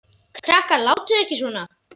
Krakkar látiði ekki svona!